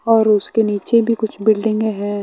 और उसके नीचे भी कुछ बिल्डिंगें हैं।